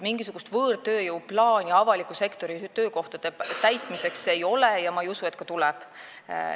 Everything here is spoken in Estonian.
Mingisugust võõrtööjõuplaani avaliku sektori töökohtade täitmiseks ei ole ja ma ei usu, et ka tuleb.